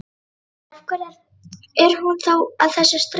En, af hverju er hún þá að þessu streði?